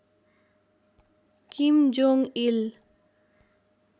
किम Jong इल